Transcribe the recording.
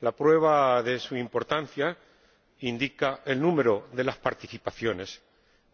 La prueba de su importancia la indica el número de participaciones